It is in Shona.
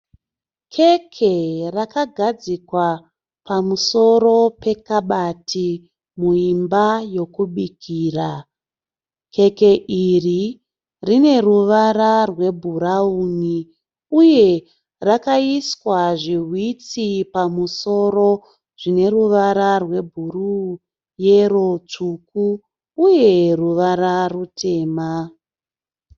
Keke rakagadzikwa pamusoro pekabati muimba yokubikira. Keke iri rine ruvara rwebhurauni uye rakaiswa zvihwitsi pamusoro zvine ruvara rwebhuruu, yero, tsvuku uye ruvara rutema.